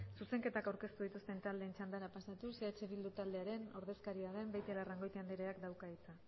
zuzenketak aurkeztu dituzten taldeen txandara pasatuz eh bildu taldearen ordezkaria den beitialarrangoitia andereak dauka hitza